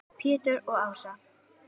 Pétur og Ása.